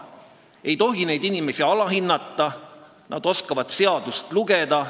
Ei tohi neid inimesi alahinnata, nad oskavad seadust lugeda.